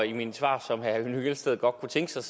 i mine svar som herre henning hyllested godt kunne tænke sig